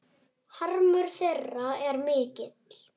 Harmur þeirra er mikill.